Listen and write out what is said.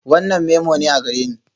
Wannan memo ne a gareni?